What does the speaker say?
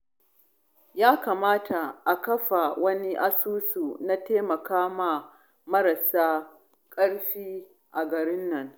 Ya kamata a kafa wani asusu na taimakon marasa ƙarfi a garin nan